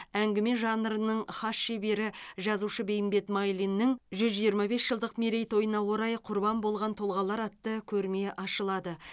әңгіме жанрының хас шебері жазушы бейімбет майлиннің жүз жиырма бес жылдық мерейтойына орай құрбан болған тұлғалар атты көрме ашылады